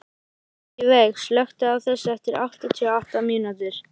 Ingiveig, slökktu á þessu eftir áttatíu og átta mínútur.